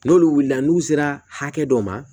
N'olu wulila n'u sera hakɛ dɔ ma